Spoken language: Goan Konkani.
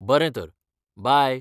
बरें तर, बाय!